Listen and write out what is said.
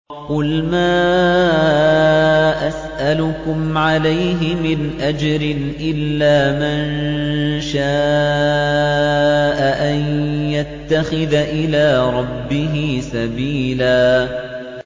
قُلْ مَا أَسْأَلُكُمْ عَلَيْهِ مِنْ أَجْرٍ إِلَّا مَن شَاءَ أَن يَتَّخِذَ إِلَىٰ رَبِّهِ سَبِيلًا